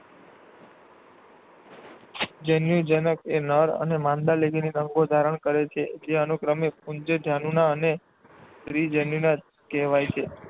જન્યુજનક એ નર અને માદા લિંગી અંગો ધારણ કરે છે જે અનુક્રમે પુંજન્યુધાની અને સ્ત્રીજન્યુધાની કહેવાય છે.